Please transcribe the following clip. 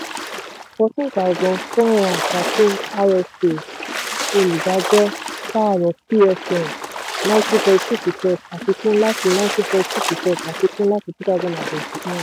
fourteen thousand four hundred and thirteen rsa olùdájọ pààrọ̀ pfm ninety point two percent àfikún láti pfm ninety point two percent àfikún láti two thousand and twenty one.